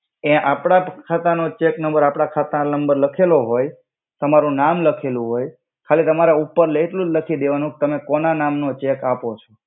એ આપ્દ ખાતા નો ચેક નમ્બર આપડા ખાતા નમ્બર લખેલો હોય તમારુ નામ લખેલુ હોય ખાલિ તમારે ઉપર એટ્લુ જ લખી દેવાનુ તમે કોના નામ નો ચેક આપો છો.